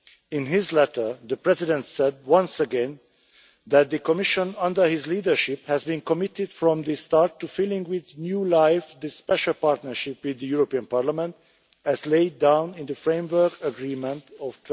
In his letter the President said, once again, that the Commission, under his leadership, has been committed from the start to filling with new life the special partnership with the European Parliament as laid down in the framework agreement of